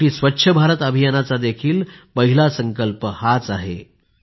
शेवटी स्वच्छ भारत अभियानाचा देखील पहिला संकल्प हाच आहे